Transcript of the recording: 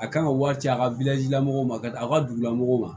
A kan ka wari ci a ka la mɔgɔw ma a ka dugulamɔgɔw ma